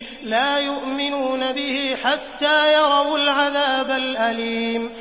لَا يُؤْمِنُونَ بِهِ حَتَّىٰ يَرَوُا الْعَذَابَ الْأَلِيمَ